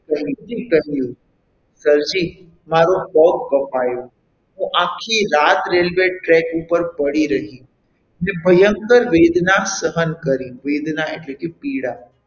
કરીને કહ્યું Sir જી મારો પગ કપાયો હું આખી રાત railway track ઉપર પડી રહી મેં ભયંકર વેદના સહન કરી વેદના એટલે કે પીડા,